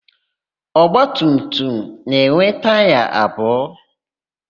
Ọgbatumtum na-enwe taya abụọ.